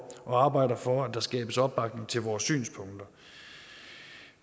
og arbejder for at der skabes opbakning til vores synspunkter